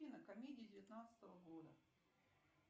афина комедии девятнадцатого года